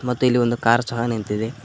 ಮತ್ತು ಇಲ್ಲಿ ಒಂದು ಕಾರ್ ಸಹ ನಿಂತಿದೆ.